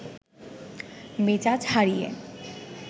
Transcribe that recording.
মেজাজ হারিয়ে